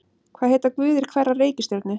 Hvað heita guðir hverrar reikistjörnu?